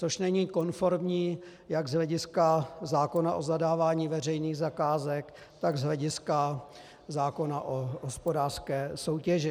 Což není konformní jak z hlediska zákona o zadávání veřejných zakázek, tak z hlediska zákona o hospodářské soutěži.